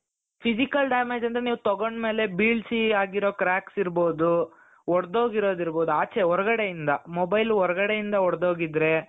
physical damage ಅಂದ್ರೆ ನೀವ್ ತಗೊಂಡ್ ಮೇಲೆ ಬೀಳಿಸಿ ಆಗಿರೋ cracks ಇರ್ಬಹುದು ಒಡೆದುಹೋಗಿರೋದ್ ಇರ್ಬಹುದು ಆಚೆ ಹೊರಗಡೆಯಿಂದ mobile ಹೊರಗಡೆಯಿಂದ ಹೊಡೆದು ಹೋಗಿದ್ರೆ .